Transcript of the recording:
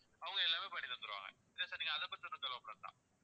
அவங்க எல்லாமே பண்ணி தந்துருவாங்க நீங்க அதை பத்தி ஒண்ணும் கவலைப்பட வேண்டாம்